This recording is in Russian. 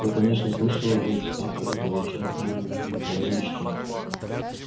я конечно слышал об этих авторах ответил хардин но никогда не читал